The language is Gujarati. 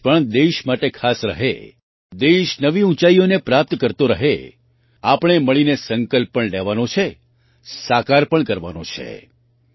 આ વર્ષ પણ દેશ માટે ખાસ રહે દેશ નવી ઊંચાઈઓને પ્રાપ્ત કરતો રહે આપણે મળીને સંકલ્પ પણ લેવાનો છે સાકાર પણ કરવાનો છે